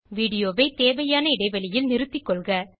video வை தேவையான இடைவெளியில் நிறுத்தி கொள்க